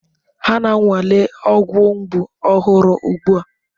Ha na-anwale ọgwụ mgbu ọhụrụ ugbu a.